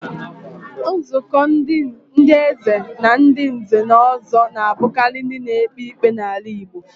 Nzuko ndi Eze Na ndi nze na ozo na-abukari ndi na-ekpe ikpe n'ala Igbo.